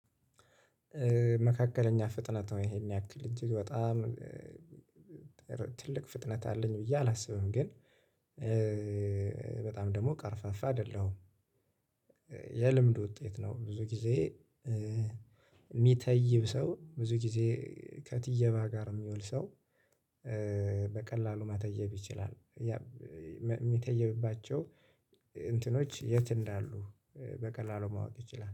መካከለኛ ፍጥነት ነው ይሄን ያክል እንጂግ በጣም ትልቅ ፍጥነት አለኝ ብዬ አላስብም። ግን በጣም ደግሞ ቀርፋፋ አይደለሁም። የልምድ ውጤት ነው። ብዙ ጊዜ የሚተይብ ሰው ብዙ ጊዜ ከትየባ ጋር የሚውል ሰው። በቀላሉ መተየብ ይችላል። የሚተየብባቸው እንትኖች የት? እንዳሉ በቀላሉ ማወቅ ይችላል